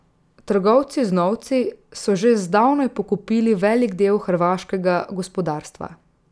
Trgovci z novci so že zdavnaj pokupili velik del hrvaškega gospodarstva.